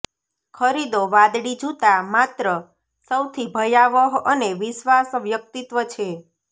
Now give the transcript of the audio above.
ખરીદો વાદળી જૂતા માત્ર સૌથી ભયાવહ અને વિશ્વાસ વ્યક્તિત્વ છે